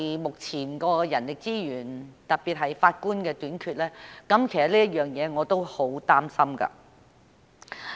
目前的人力資源，特別是法官的短缺，其實也令我很擔心。